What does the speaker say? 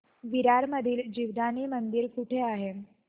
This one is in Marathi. विरार मधील जीवदानी मंदिर कुठे आहे